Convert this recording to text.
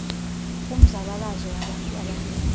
kumzabalazo wabantu abamnyama